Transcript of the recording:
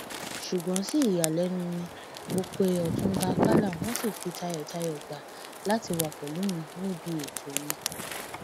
ṣùgbọn sí ìyàlẹnu mi mọ pé ọtúnba àkàlà wọn ṣì fi tayọtayọ gbà láti wàá pẹlú mi níbi ètò yẹn